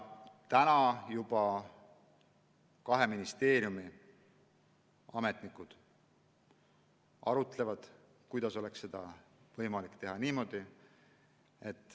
Praegu juba kahe ministeeriumi ametnikud arutlevad, kuidas oleks seda võimalik teha.